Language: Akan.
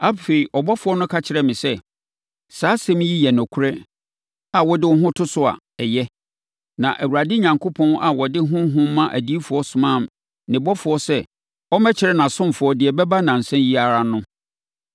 Afei, ɔbɔfoɔ no ka kyerɛɛ me sɛ, “Saa nsɛm yi yɛ nokorɛ a wode wo ho to so a, ɛyɛ. Na Awurade Onyankopɔn a ɔde Honhom ma adiyifoɔ somaa ne ɔbɔfoɔ sɛ ɔmmɛkyerɛ nʼasomfoɔ deɛ ɛbɛba nnansa yi ara no.”